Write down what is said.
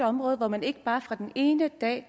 område hvor man ikke bare fra den ene dag